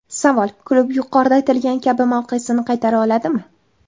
Savol: klub yuqorida aytilgani kabi mavqesini qaytara oladimi?